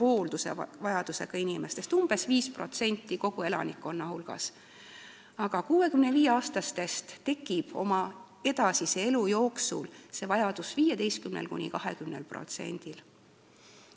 Hooldusvajadusega inimesi on umbes 5% kogu elanikkonnast, aga alates 65. eluaastast tekib see vajadus edasise elu jooksul 15–20%-l.